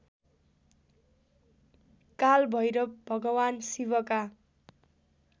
कालभैरव भगवान् शिवका